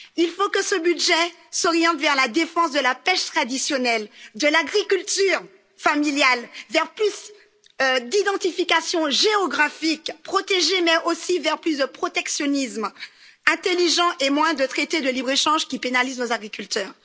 Il faut que ce budget s'oriente vers la défense de la pêche traditionnelle, de l'agriculture familiale, qu'il aille vers plus d'identification géographique protégée mais aussi vers plus de protectionnisme intelligent et moins de traités de libre échange, qui pénalisent nos agriculteurs.